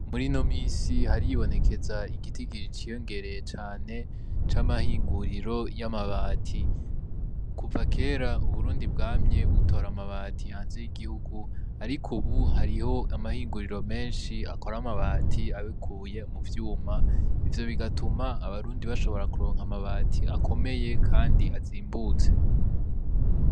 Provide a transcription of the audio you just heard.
Murino misi haribonekeza igitigiri c'iyongereye cane c'amahinguriro y'amabati, kuva kera u Burundi bwamye butora amabati hanze y'igihugu, ariko ubu hariho amahinguriro menshi akora amabati abikuye mu vyuma, ivyo bigatuma abarundi bashobora kuronka amabati akomeye Kandi azimbutse.